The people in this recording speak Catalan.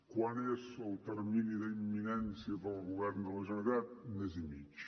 quant és el termini d’imminència per al govern de la generalitat mes i mig